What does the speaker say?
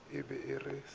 se yago ka mo le